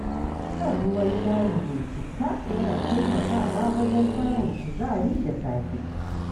Shan ruwan shayi mai citta yana taimakawa wajen samun kuzari da safe.